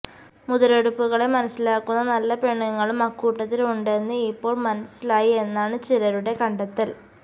മുതലെടുപ്പുകളെ മനസ്സിലാക്കുന്ന നല്ല പെണ്ണുങ്ങളും അക്കൂട്ടത്തില് ഉണ്ടെന്ന് ഇപ്പോള് മനസ്സിലായി എന്നാണ് ചിലരുടെ കണ്ടെത്തല്